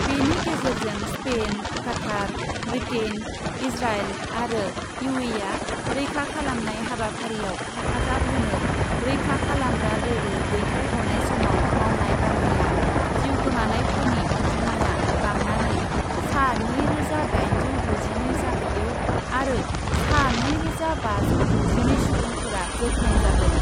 बेनि गेजेरजों Spain , Qatar , Britain , Israel आरो इउएइआ रैखा खालामनाय हाबाफारिआव हेफाजाब होनो रैखा खालामग्रा दोलो दैथाय हरनाय समाव मावनाय बांग्रिआव जिउ गोमानायफोरनि अन्जिमाया बांनानै सा नैरोजा दाइनजौ द'जिनै जाहैयो आरो सा नैरोजा बाजौ द'जिनै सुबुंफोरा जोखोम जादों ।